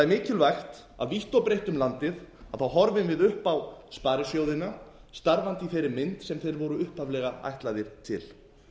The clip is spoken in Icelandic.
mikilvægt að vítt og breitt um landið horfum við upp á sparisjóðina starfandi í þeirri mynd sem þeir voru upphaflega ætlaðir til